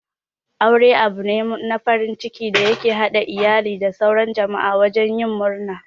Aure abune na farin ciki da ya ke haɗa iyali da sauran jama'a wajen yin murna.